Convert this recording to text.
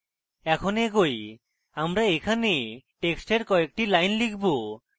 এখন এগোই আমরা এখানে টেক্সটের কয়েকটি lines লিখব